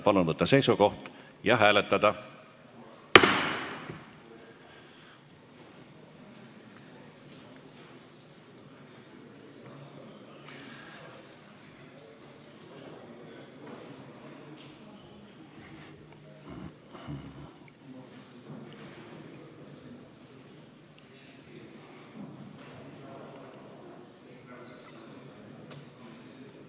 Palun võtta seisukoht ja hääletada!